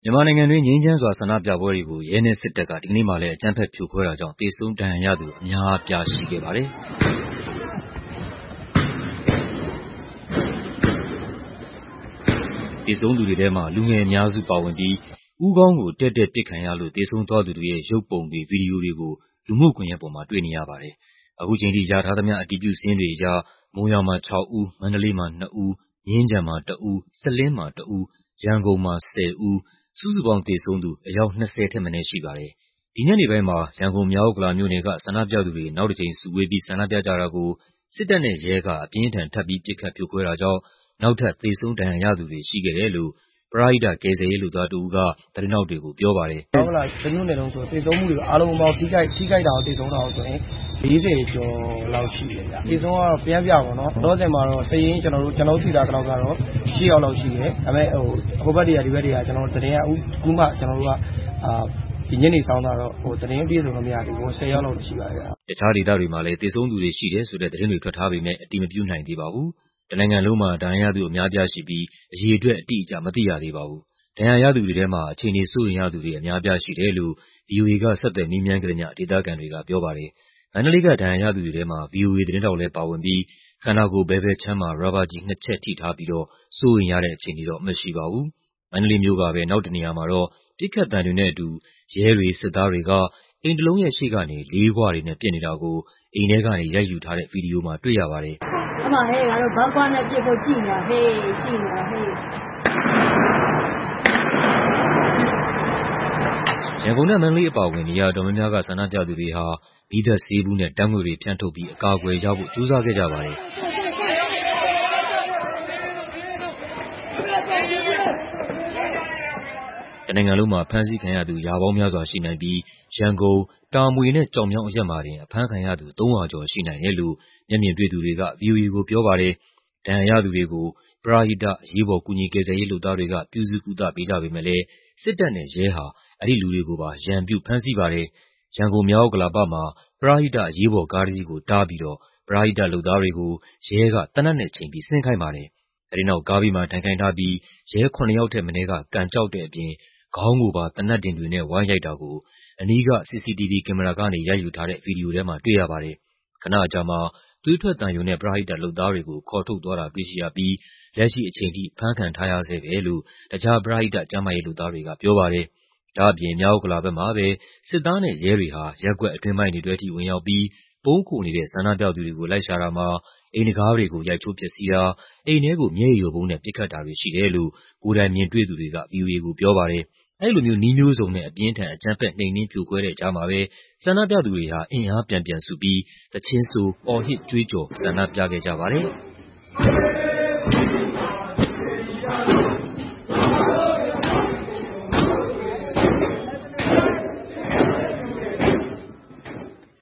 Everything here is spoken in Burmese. မြန်မာနိုင်ငံတွင်း ငြိမ်းချမ်းစွာ ဆန္ဒပြပွဲတွေကို ရဲနဲ့စစ်တပ်က ဒီကနေ့မှာလည်း အကြမ်းဖက်ဖြိုခွဲတာကြောင့် သေဆုံး ဒဏ်ရာရသူ အများအပြားရှိခဲ့ပါတယ်။ သေဆုံးသူတွေထဲမှာ လူငယ်အများစုပါဝင်ပြီး ဦးခေါင်းကို တည့်တည့်ပစ်ခံရလို့ သေဆုံးသွားသူတွေရဲ့ ရုပ်ပုံတွေ၊ ဗီဒီယိုတွေကို လူမှုကွန်ယက်မှာ တွေ့ရပါတယ်။ အခုချိန်ထိရထားသမ ျှ အတည်ပြုစာရင်းတွေအရ မုံရွာမှာ ၆ ဦး၊ မန္တလေးမှာ ၂ ဦး၊ မြင်းခြံမှာ ၁ ဦး၊ စလင်းမှာ ၁ ဦး၊ ရန်ကုန်မှာ ၁၀ ဦး စုစုပေါင်း သေဆုံးသူ အယောက် ၂၀ ထက်မနည်း ရှိပါတယ်။ ဒီညနေပိုင်းမှာ ရန်ကုန်၊ မြောက်ဥက္ကလာမြို့နယ်က ဆန္ဒပြသူတွေ နောက်တစ်ကြိမ်စုဝေးပြီး ဆန္ဒပြကြတာကို စစ်တပ်နဲ့ရဲက ထပ်ပြီး ပစ်ခတ်ဖြိုခွဲတာကြောင့် နောက်ထပ် သေဆုံး ဒဏ်ရာရသူတွေရှိခဲ့တယ်လို့ ပရဟိတ ကယ်ဆယ်ရေးလုပ်သားတစ်ဦးက သတင်းထောက်တွေကို ပြောပါတယ်။ "မြောက်ဥက္ကလာတမြို့နယ်လုံးဆိုရင် သေဆုံးတာရော၊ ထိခိုက်တာရောဆိုရင် ၄၀ ကျော်လောက်ရှိတယ်ဗျ။ သေဆုံးကတော့ လောလောဆယ်မှာတော့ ကျနော်တို့သိထားသလောက် စာရင်းကတော့ ရှစ်ယောက်လောက်ရှိတယ်။ ဒါပေမဲ့ ဟိုဘက်၊ ဒီဘက် သတင်းတွေကတော့ သတင်းအပြည့်စုံတော့မရသေးဘူး။ ၁၀ ယောက်လောက်တော့ရှိပါတယ် ခင်ဗျ။" တခြားဒေသတွေမှာလည်း သေဆုံးသူတွေရှိတယ်ဆိုတဲ့ သတင်းတွေ ထွက်ထားပေမဲ့ အတည်မပြုနိုင်သေးပါဘူး။ တနိုင်ငံလုံးမှာ ဒဏ်ရာရသူ အများအပြားရှိပြီး အရေအတွက် အတိအကျကို မသိရသေးပါဘူး။ ဒဏ်ရာရသူတွေထဲမှာ အခြေအနေစိုးရိမ်ရသူတွေ အများအပြားရှိတယ်လို့ ဗွီအိုအေက ဆက်သွယ် မေးမြန်းခဲ့သမ ျှ ဒေသခံတွေက ပြောပါတယ်။ မန္တလေးက ဒဏ်ရာရသူတွေထဲမှာ ဗွီအိုအေသတင်းထောက်လည်းပါဝင်ပြီး ခန္ဓာကိုယ် ဘယ်ဘက်ခြမ်းမှာ ရာဘာကျည်နှစ်ချက် ထိထားပြီးတော့ စိုးရိမ်ရတဲ့အခြေအနေတော့ မရှိပါဘူး။ မန္တလေးမြို့ကပဲ နောက်တစ်နေရာမှာတော့ ပစ်ခတ်သံတွေနဲ့အတူ ရဲတွေ၊ စစ်သားတွေက အိမ်တလုံးရဲ့ရှေ့ကနေ လေးခွတွေနဲ့ ပစ်နေတာကို အိမ်ထဲကနေ ရိုက်ယူထားတဲ့ ဗီဒီယိုမှာ တွေ့ရပါတယ်။ ရန်ကုန်နဲ့ မန္တလေးအပါအဝင် နေရာအတော်များများက ဆန္ဒပြသူတွေဟာ မီးသတ်ဆေးဘူးနဲ့ ဓာတ်ငွေ့တွေဖြန်းထုတ်ပြီး အကာအကွယ်ရဖို့ ကြိုးစားခဲ့ကြပါတယ်။ တနိုင်ငံလုံးမှာ ဖမ်းဆီးခံရသူ ရာပေါင်းများစွာရှိနိုင်ပြီး ရန်ကုန်၊ တာမွေနဲ့ ကျောက်မြောင်းအရပ်မှာတင် အဖမ်းခံရသူ ၃၀၀ ကျော်ရှိနိုင်တယ်လို့ မျက်မြင်တွေ့သူတွေက ဗွီအိုအေကိုပြောပါတယ်။ ဒဏ်ရာရသူတွေကို ပရဟိတ အရေးပေါ် ကူညီကယ်ဆယ်ရေးလုပ်သားတွေက ပြုစုကုသပေးကြပေမယ့်လည်း စစ်တပ်နဲ့ရဲဟာ အဲဒီလူတွေကိုပါ ရန်ပြု ဖမ်းဆီးပါတယ်။ ရန်ကုန်၊ မြောက်ဥက္ကလာပမှာ ပရဟိတ အရေးပေါ်ကားတစ်စီးကိုတားပြီးတော့ ပရဟိတလုပ်သားတွေကို ရဲက သေနတ်နဲ့ချိန်ပြီး ဆင်းခိုင်းပါတယ်။ အဲဒီနောက် ကားဘေးမှာ ထိုင်ခိုင်းထားပြီး ရဲ ၇ ယောက်ထက်မနည်းက ကန်ကျောက်တဲ့အပြင် ခေါင်းကိုပါ သေနတ်ဒင်တွေနဲ့ ဝိုင်းရိုက်တာကို အနီးက CCTV ကင်မရာကနေ ရိုက်ယူထားတဲ့ ဗီဒီယိုထဲမှာ တွေ့ရပါတယ်။ ခနအကြာမှာ သွေးထွက်သံယိုနဲ့ ပရဟိတလုပ်သားတွေကို ခေါ်ထုတ်သွားတာ တွေ့ရပြီး လက်ရှိအချိန်ထိ ဖမ်းခံထားရဆဲပဲလို့ တခြား ပရဟိတ ကျန်းမာရေးလုပ်သားတွေကပြောပါတယ်။ ဒါ့အပြင် မြောက်ဥက္ကလာဘက်မှာပဲ စစ်သားနဲ့ရဲတွေဟာ ရပ်ကွက်အတွင်းပိုင်းတွေထဲထိ ဝင်ရောက်ပြီး ပုန်းခိုနေတဲ့ ဆန္ဒပြသူတွေကို လိုက်ရှာတာမှာ အိမ်တံခါးတွေကို ရိုက်ချိုးဖျက်ဆီးတာ၊ အိမ်ထဲကို မျက်ရည်ယိုဗုံးနဲ့ ပစ်ခတ်တာတွေရှိတယ်လို့ ကိုယ်တိုင်မြင်တွေ့သူတွေက ဗွီအိုအေကို ပြောပါတယ်။ အဲဒီလို နည်းမျိုးစုံနဲ့ အပြင်းအထန် အကြမ်းဖက် နှိမ်နင်းဖြိုခွဲတဲ့ကြားမှာပဲ ဆန္ဒပြသူတွေဟာ အင်အားပြန်စုပြီး သီချင်းဆို အော်ဟစ်ကြွေးကျော် ဆန္ဒပြခဲ့ကြပါတယ်။